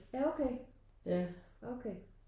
Ja okay okay